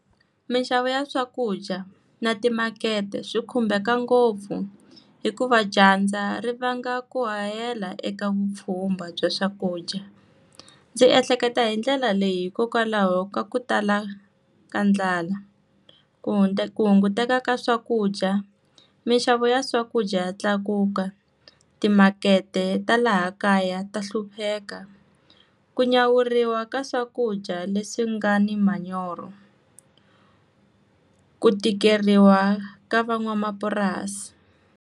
Minxavo ya swakudya na timakete swi khumbeka ngopfu, hikuva dyandza ri vanga ku hahela eka vupfhumba bya swakudya. Ndzi ehleketa hi ndlela leyi hikokwalaho ka ku tala ka ndlala. ku ku hunguteka ka swakudya, minxavo ya swakudya tlakuka, timakete ta laha kaya ta hlupheka, ku nyawuriwa ka swakudya leswi nga ni manyoro, ku tikeriwa ka van'wamapurasi.